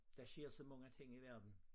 Der sker så mange ting i verden